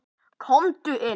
Komdu inn.